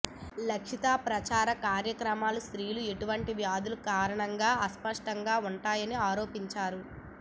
లక్షిత ప్రచార కార్యక్రమాలు స్త్రీలు అటువంటి వ్యాధుల కారణంగా అస్పష్టంగా ఉంటాయని ఆరోపించారు